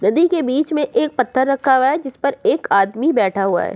नदी के बीच में एक पत्थर रखा हुआ है जिस पर एक आदमी बैठा हुआ है।